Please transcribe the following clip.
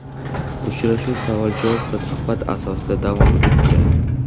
Uchrashuv savol-javob va suhbat asosida davom etdi.